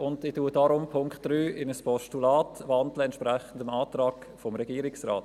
Ich wandle deshalb den Punkt 3 in ein Postulat, entsprechend dem Antrag des Regierungsrates.